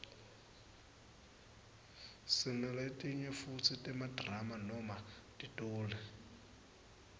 sinaletinye futsi temadrama noma titoli